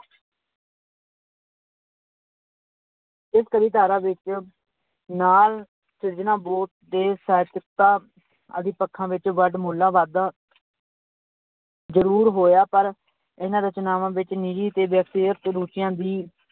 ਇਸ ਕਵੀ ਧਾਰਾ ਵਿੱਚ ਸਿਰਜਣਾ ਆਦਿ ਪੱਖਾਂ ਵਿੱਚ ਵਡਮੁੱਲਾ ਵਾਧਾ ਜ਼ਰੂਰ ਹੋਇਆ ਪਰ ਇਹਨਾਂ ਰਚਨਾਵਾਂ ਵਿੱਚ ਨਿੱਜੀ ਤੇ ਵਿਅਕਤੀਗਤ ਰੁੱਚੀਆਂ ਦੀ